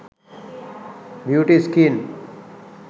beauty skin